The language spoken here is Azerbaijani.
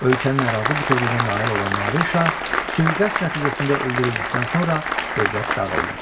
Ölkənin ərazi bütövlüyünə nail olan Nadir Şah sui-qəsd nəticəsində öldürüldükdən sonra dövlət dağıldı.